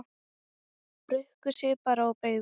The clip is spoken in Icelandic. Bukkuðu sig bara og beygðu!